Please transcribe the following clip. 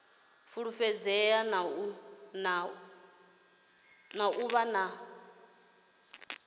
fulufhedzea na u vha na